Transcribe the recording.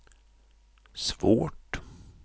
svårt